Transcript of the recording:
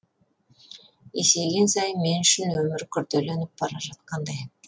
есейген сайын мен үшін өмір күрделеніп бара жатқандай